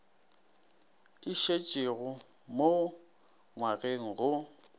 e šetšego mo ngwageng go